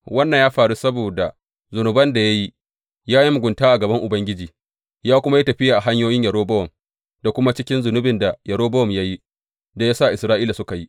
Wannan ya faru saboda zunuban da ya yi, ya yi mugunta a gaban Ubangiji ya kuma yi tafiya a hanyoyin Yerobowam da kuma cikin zunubin da Yerobowam ya yi da ya sa Isra’ila suka yi.